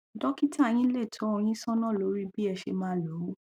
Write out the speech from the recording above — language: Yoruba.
dọkítà yín lè tọ ọ yín sọnà lórí bí ẹ ṣe máa lò ó